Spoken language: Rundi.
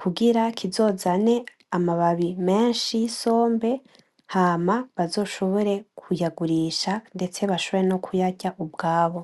kugira kizozane amababi menshi y'isombe hama bazoshobore kuyagurisha ndetse bashobore no kuyarya ubwabo.